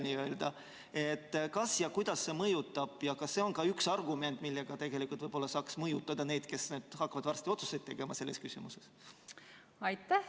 Kas see mõjutab ja kui, siis kuidas see mõjutab ja kas see on ka üks argument, millega võib-olla saaks mõjutada inimesi, kes hakkavad varsti tegema otsuseid selles küsimuses?